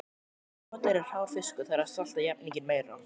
Ef notaður er hrár fiskur þarf að salta jafninginn meira.